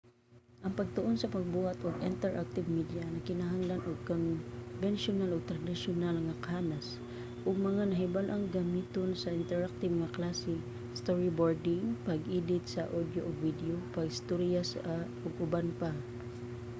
ang pagtuon sa pagbuhat ug interactive media nagkinahanglan og konbensiyonal ug tradisyonal nga kahanas ug mga nahibal-ang gamiton sa interactive nga klase storyboarding pag-edit sa audio ug video pag-storya ug uban pa